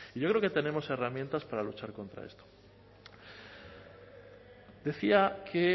yo creo que tenemos herramientas para luchar contra esto decía que